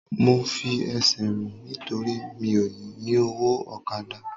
Mo fi ẹsẹ̀ rìn nítorí mi ò lówó ọ̀kadà